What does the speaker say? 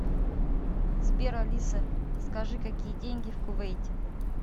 сбер алиса скажи какие деньги в кувейте